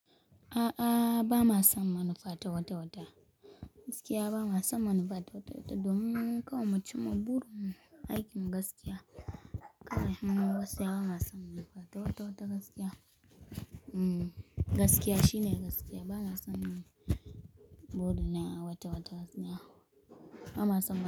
A'a, ba ma san wani fatawatawata. Gaskiya ba ma san wani fatawatawata. Don kawai mu ci ma burin mu, aikin gaskiya. Kai, gaskiya ba ma san wani fatawatawata gaskiya. Hmm. Gaskiya shine gaskiya. Ba na san buɗe na watawata gaskiya. Ba ma san.